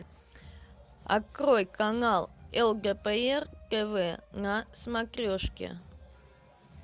открой канал лдпр тв на смотрешке